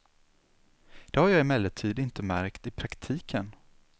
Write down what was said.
Det har jag emellertid inte märkt i praktiken.